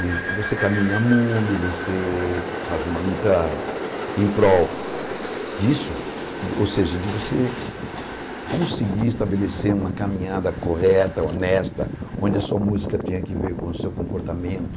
E você caminha mundo, você faz uma luta em prol disso, ou seja, de você conseguir estabelecer uma caminhada correta, honesta, onde a sua música tenha que ver com o seu comportamento.